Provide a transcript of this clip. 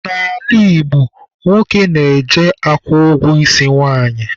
N'ala Igbo, nwoke na-eje akwụ ụgwọ isi nwanyị.